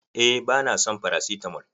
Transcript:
Eh ba na son farasitamol.